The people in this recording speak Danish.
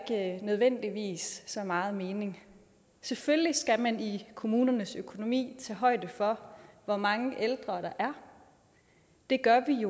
nødvendigvis så meget mening selvfølgelig skal man i kommunernes økonomi tage højde for hvor mange ældre der er det gør vi